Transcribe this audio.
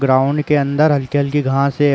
Ground के अंदर हल्की-हल्की घांस है।